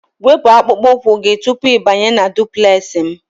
Wepu akpụkpọ ụkwụ gị tupu ịbanye na duplex m!